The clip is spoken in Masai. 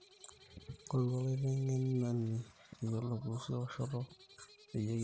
ngoru olaitengeni oyolo kuusu ewoshoto peyie kiliki